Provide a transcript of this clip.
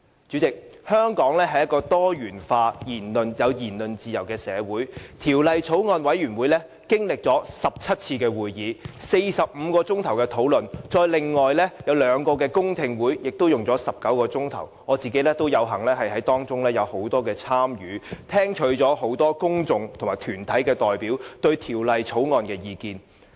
主席，香港是一個多元化及有言論自由的社會，法案委員會經歷了17次會議、45小時討論，還有兩個公聽會也花了19小時，我有幸在當中有很多參與，聽取了很多公眾人士和團體代表對《條例草案》的意見。